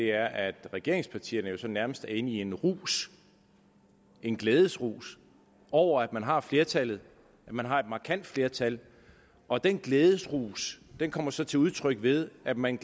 er at regeringspartierne jo sådan nærmest er inde i en rus en glædesrus over at man har flertallet at man har et markant flertal og den glædesrus kommer så til udtryk ved at man